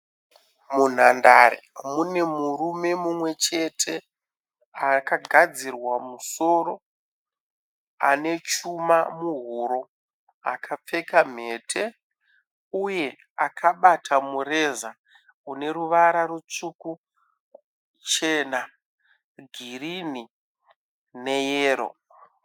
Munhandare mune murume mumwe chete akagadzirwa musoro, ane chuma muhuro, akapfeka mhete uye akabata mureza une ruvara rutsvuku, chena, girini neyero.